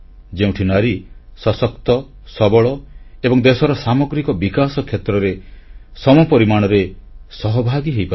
ଯେଉଁଠି ନାରୀ ସଶକ୍ତ ସବଳ ଏବଂ ଦେଶର ସାମଗ୍ରିକ ବିକାଶ କ୍ଷେତ୍ରରେ ସମପରିମାଣରେ ସହଭାଗୀ ହୋଇପାରିବ